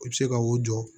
U bɛ se ka o jɔ